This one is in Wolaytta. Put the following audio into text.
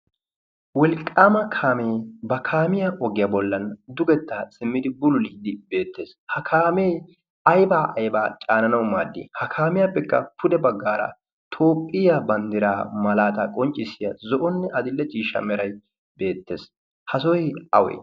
wolqqaama kaamee ba kaamiyaa oggiyaa bollan dugettaa simmidi bululiiddi beettees. ha kaamee aibaa aibaa caananawu maaddi? ha kaamiyaappekka pude baggaara toopphiyaa banddiraa malaataa qonccissiya zo7onne adille ciishsha merai beettees. ha sooi awe?